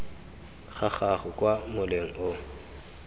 ga gago kwa moleng o